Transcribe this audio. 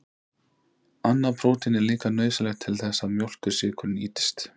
Annað prótín er líka nauðsynlegt til þess að mjólkursykur nýtist.